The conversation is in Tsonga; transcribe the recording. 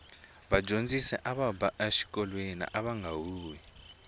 vadyondzisi ava ba exikolweni vanga huhwi